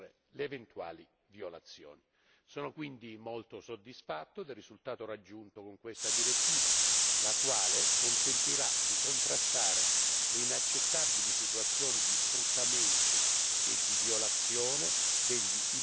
Sono quindi molto soddisfatto del risultato raggiunto con questa direttiva, la quale consentirà di contrastare le inaccettabili situazioni di sfruttamento e di violazione degli immigrati stagionali in Europa.